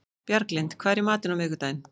Bjarglind, hvað er í matinn á miðvikudaginn?